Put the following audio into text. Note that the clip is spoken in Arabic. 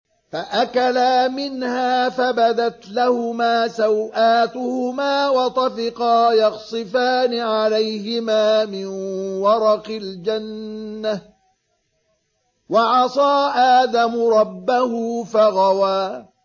فَأَكَلَا مِنْهَا فَبَدَتْ لَهُمَا سَوْآتُهُمَا وَطَفِقَا يَخْصِفَانِ عَلَيْهِمَا مِن وَرَقِ الْجَنَّةِ ۚ وَعَصَىٰ آدَمُ رَبَّهُ فَغَوَىٰ